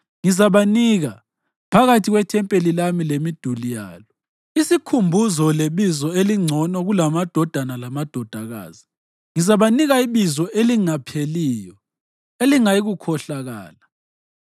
ngizabanika, phakathi kwethempeli lami lemiduli yalo, isikhumbuzo lebizo elingcono kulamadodana lamadodakazi. Ngizabanika ibizo elingapheliyo. Elingayikukhohlakala.